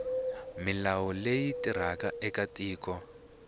milawu leyi tirhaka eka tiko